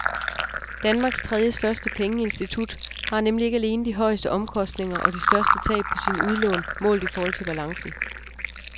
Danmarks tredjestørste pengeinstitut har nemlig ikke alene de højeste omkostninger og de største tab på sine udlån målt i forhold til balancen.